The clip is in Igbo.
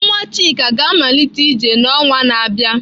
Nwa Chika ga-amalite ije n'ọnwa na-abịa.